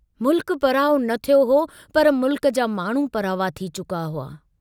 मुल्क पराओ न थियो हो पर मुल्क जा माण्हू परावा थी चुका हुआ।